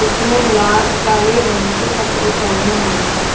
इसने ला काले रंग के कपड़े पेहने हुए है।